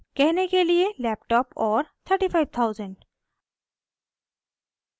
कहने के लिए laptop और 35000